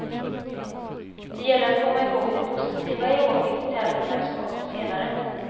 Det gäller att komma ihåg det positiva i åket till tävlingar som kommer senare.